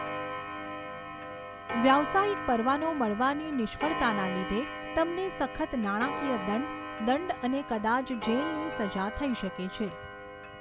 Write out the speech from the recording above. વ્યવસાયિક પરવાનો મળવાની નિષ્ફળતાના લીધે તમને સખત નાણાકીય દંડ, દંડ અને કદાચ જેલની સજા થઈ શકે છે.